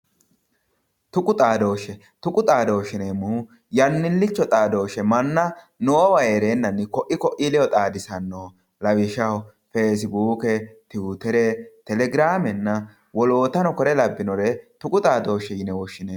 Tuqu xaadoshe, tuqu xaadoshe yineemmohu yannilicho xaadoshe manna noowa heerenanni koe koi ledo xaadisanoho lawishshaho ,Facibuke, Tiwutere, Telegiramenna woloottano kuri labbinore tuqu xaadosheti yinnanni.